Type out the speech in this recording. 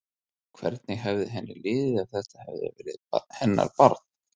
Hvernig hefði henni liðið ef þetta hefði verið hennar barn?